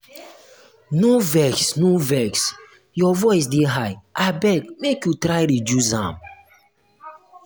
no vex no vex your voice dey high abeg make you try reduce am.